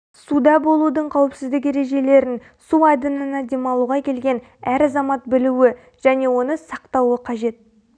суда болудың қауіпсіздік ережелерін су айдынына демалуға келген әр азамат білуі және оны сақтауы қажет